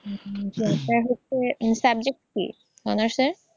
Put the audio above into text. আপনার হচ্ছে subject কী অনার্সের?